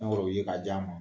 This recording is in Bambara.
,ye ka di a ma